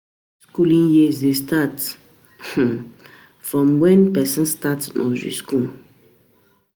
Skooling years dey start um from wen pesin start nursery skool.